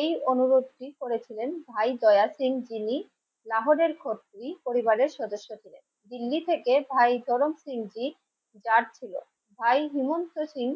এই অনুরোধটি করেছিলেন ভাই দয়া সিং যিনি লাহরের পরিবারের সদস্যদের ছিলেন দিল্লি থেকে ভাই চরম পিঙ্কি যাচ্ছিল. ভাই হেমন্ত সিং.